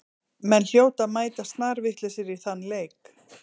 Menn hljóta að mæta snarvitlausir í þann leik.